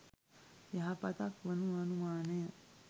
යහපතක් වනු නොඅනුමනාය.